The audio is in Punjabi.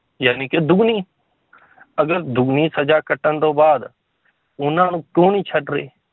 ਜਾਣੀ ਕਿ ਦੁੱਗਣੀ ਅਗਰ ਦੁੱਗਣੀ ਸਜ਼ਾ ਕੱਟਣ ਤੋਂ ਬਾਅਦ ਉਹਨਾਂ ਨੂੰ ਕਿਉਂ ਨੀ ਛੱਡ ਰਹੇ